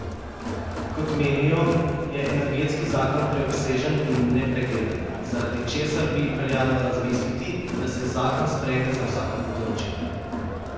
Kot menijo, je energetski zakon preobsežen in nepregleden, zaradi česar bi veljalo razmisliti, da se zakon sprejme za vsako področje.